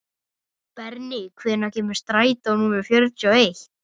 Berni, hvenær kemur strætó númer fjörutíu og eitt?